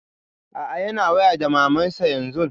A'a yana waya da maman sa yanzun.